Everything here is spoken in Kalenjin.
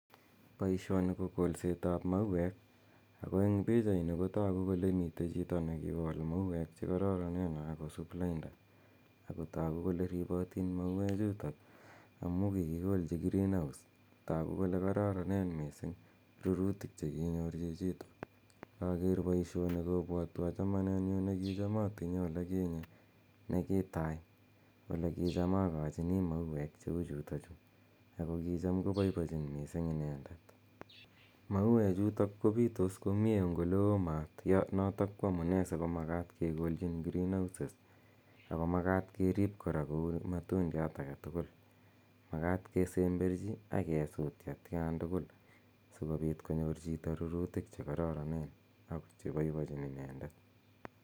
Poishini ko kolset ap mauek ako eng' pichaini kotagu kole mitei chito ne kikol mauek che kararanen kosup lainda, ako tagu kole ripatin mauechutok amu kikikolchi green house, tagu kole kararaneen missing' rurutiik che kinyor chichitok. Inaker poishoni kopwatwa chamanennyu ne kicham atinye ole kinye, ne kitai ole kicham akachini mauek che u chutachu ako kicham kopoipochin missing' inendet. Mauechutok kopitos komye eng' ole oo maat, notok ko amune si kekolchin green houses ako makat kerip kora kou matundiat age tugul. Makat kesemberchi akesuut atian tugul si kopit konyor chito rurutik che kararanen che poipochin inendet.